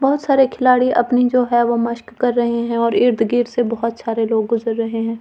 बहौत सारे खिलाड़ी अपनी जो है वो मस्‍क कर रहे हैं और इर्द-गिर्द से बहौत सारे लोग गुजर रहे हैं।